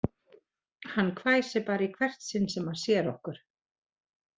Hann hvæsir bara í hvert sinn sem hann sér okkur